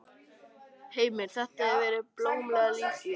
Heimir: Þetta hefur verið blómlegt líf hérna?